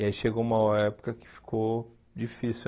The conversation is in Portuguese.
E aí chegou uma época que ficou difícil.